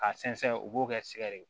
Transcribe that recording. Ka sɛnsɛn u b'o kɛ sigare